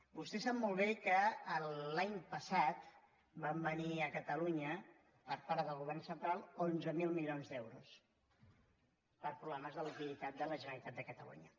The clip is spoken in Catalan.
vostè sap molt bé que l’any passat van venir a catalunya per part del govern central onze mil milions d’euros per problemes de liquiditat de la generalitat de catalunya